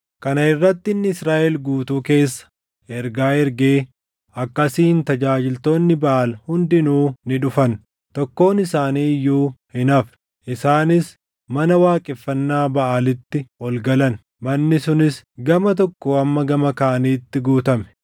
Kana irratti inni Israaʼel guutuu keessa ergaa ergee akkasiin tajaajiltoonni Baʼaal hundinuu ni dhufan; tokkoon isaanii iyyuu hin hafne. Isaanis mana waaqeffannaa Baʼaalitti ol galan; manni sunis gama tokkoo hamma gama kaaniitti guutame.